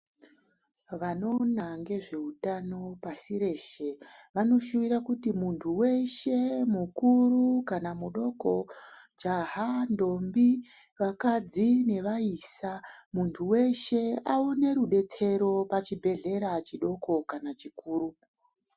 Vanoona ngezveutano pashi reshe vanoshuwira kuti muntu weshe mukuru kana mudoko ,jaha , ndombi ,vakadzi nevaisa muntu weshe aune rubetsero pachibhehlera chidoko kana chikuru.